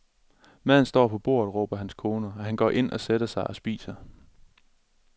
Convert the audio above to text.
Maden står på bordet råber hans kone og han går ind og sætter sig og spiser.